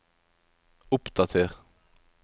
oppdater